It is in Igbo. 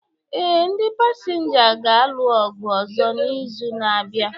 Ee, ndi pasinja ga-alụ ọgụ ọzọ n'izu na-abịa.